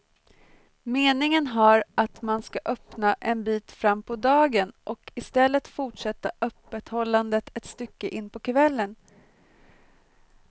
Meningen har att man skall öppna en bit fram på dagen och i stället fortsätta öppethållandet ett stycke in på kvällen.